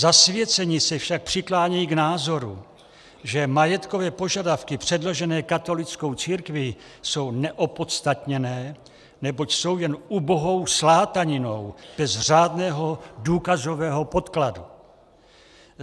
Zasvěcení se však přiklánějí k názoru, že majetkové požadavky předložené katolickou církvi jsou neopodstatněné, neboť jsou jen ubohou slátaninou bez řádného důkazového podkladu.